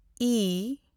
E